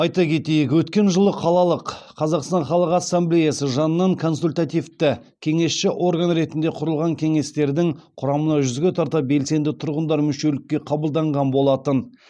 айта кетейік өткен жылы қалалық қазақстан халық ассамблеясы жанынан консультативті кеңесші орган ретінде құрылған кеңестердің құрамына жүзге тарта белсенді тұрғындар мүшелікке қабылданған болатын